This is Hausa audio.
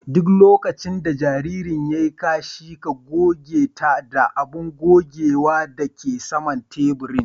Duk lokacin da jaririn ya yi kashi ,ka goge ta da abun gogewa da ke saman taburin.